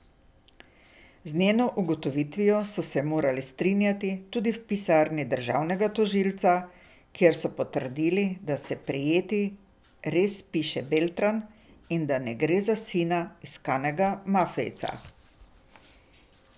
Z njeno ugotovitvijo so se morali strinjati tudi v pisarni državnega tožilca, kjer so potrdili, da se prijeti res piše Beltran in da ne gre za sina iskanega mafijca.